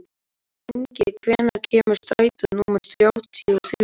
Ingi, hvenær kemur strætó númer þrjátíu og þrjú?